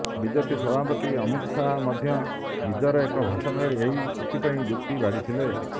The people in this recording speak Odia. ବିଜେପି ସଭାପତି ଅମିତ ଶାହା ମଧ୍ୟ ନିଜର ଏକ ଭାଷଣରେ ଏଥିପାଇଁ ଯୁକ୍ତି ବାଢିଥିଲେ